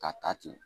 Ka ta ten